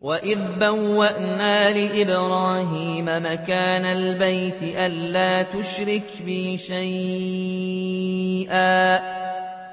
وَإِذْ بَوَّأْنَا لِإِبْرَاهِيمَ مَكَانَ الْبَيْتِ أَن لَّا تُشْرِكْ بِي شَيْئًا